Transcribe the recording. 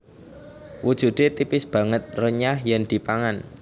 Wujude tipis banget renyah yen dipangan